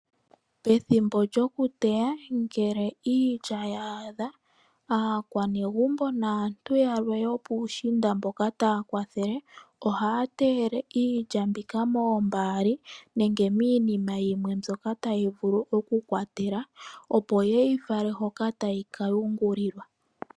Pethimbo lyo kuteya ngele iitya ya a dha, aakwanegumbo naantu yalwe yo pushiinda mboka taya kwathele, ohaya teyele iilya mbika moombaali, nenge minima yimwe mbyoka tayi vulu oku kwatela, opo yeyi fale hoka tayi ka yungulilwa.